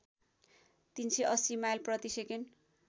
३८० mile प्रतिसेकेन्ड